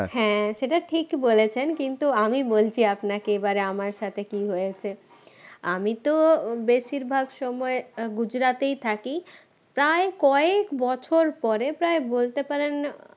হ্যাঁ সেটা ঠিক বলেছেন কিন্তু আমি বলছি আপনাকে এবারে আমার সাথে কি হয়েছে আমি তো বেশিরভাগ সময় গুজরাটেই থাকি প্রায় কয়েক বছর পরে প্রায় বলতে পারেন